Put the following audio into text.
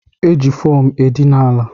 E ji fomu edina ala